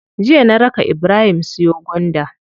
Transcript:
Jiya na raka ibrahim siyo gwanda.